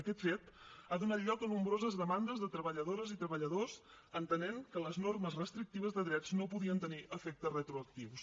aquest fet ha donat lloc a nombroses demandes de treballadores i treballadors en entendre que les normes restrictives de drets no podien tenir efectes retroactius